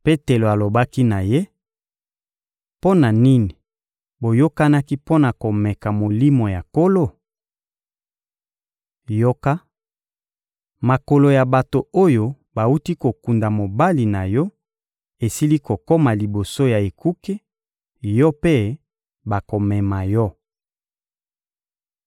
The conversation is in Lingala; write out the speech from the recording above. Petelo alobaki na ye: — Mpo na nini boyokanaki mpo na komeka Molimo ya Nkolo? Yoka, makolo ya bato oyo bawuti kokunda mobali na yo esili kokoma liboso ya ekuke; yo mpe, bakomema yo.